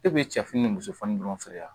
E bɛ cɛfini ni musofɔni dɔrɔn feere wa